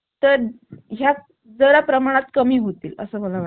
तर या जरा प्रमाणात कमी होतील असं मला वात